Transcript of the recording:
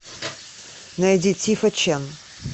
найди тифа чен